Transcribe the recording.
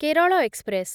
Kerala express